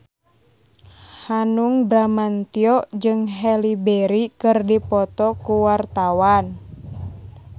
Hanung Bramantyo jeung Halle Berry keur dipoto ku wartawan